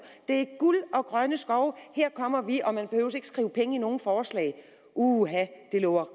det er guld og grønne skove her kommer vi og man at skrive penge i nogen forslag uha det lover